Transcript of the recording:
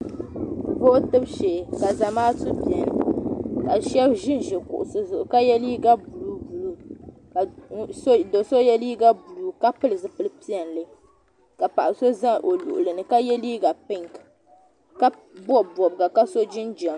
Vootibu shee ka Zamaatu beni ka shɛba ʒinʒi kuɣusi zuɣu ka ye liiga buluu buluu ka do so ye liiga buluu ka pili zipili piɛlli ka paɣa sa za o luɣili ni ka ye liiga pinki ka bɔbi bɔbiga ka so jinjam.